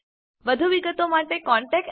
વધુ વિગતો માટે કૃપા કરી contactspoken tutorialorg પર લખો